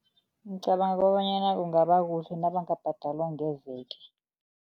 Ngicabanga bonyana kungabakuhle nabangabhadalwa ngeveke.